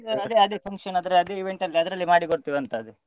ಅದೇ ಅದೇ function ಆದ್ರೆ ಅದೇ event ಅಲ್ಲಿ ಅದ್ರಲ್ಲೇ ಮಾಡಿ ಕೊಡ್ತೇವೆ ಅಂತ ಅದೇ.